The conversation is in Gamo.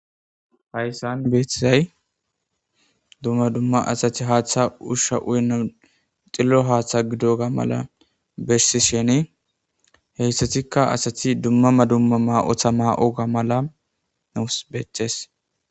Hayssan beeththisay dumma dumma asati haaththa ushsha uyna xillo haaththa gido ga mala bessi sheni heyssatikka asati dummama dumma ma,otha ma,o ga mala nuus becees.